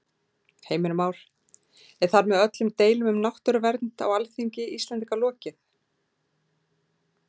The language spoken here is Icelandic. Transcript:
Heimir Már: Er þar með öllum deilum um náttúruvernd á Alþingi Íslendinga lokið?